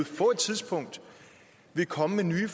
få et tidspunkt vil komme med nye